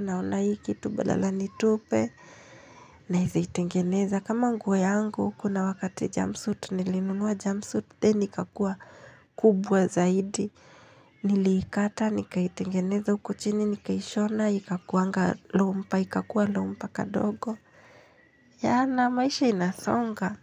naona hii kitu badala niitupe. Naeza itengeneza kama nguo yangu, kuna wakati jumpsuit, nilinunua jumpsuit, then ikakuwa kubwa zaidi. Niliikata, nikaitengeneza huko chini, nikaishona, ikakuanga romper, ikakua romper kadogo. Yeah, na maisha inasonga.